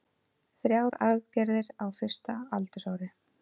Þrjár aðgerðir á fyrsta aldursári